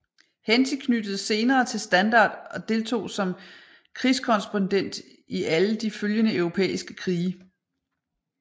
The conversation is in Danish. Henty knyttedes senere til Standard og deltog som krigskorrespondent i alle de følgende europæiske krige